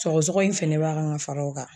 Sɔgɔsɔgɔ in fɛnɛ b'a kan ŋa fara o kan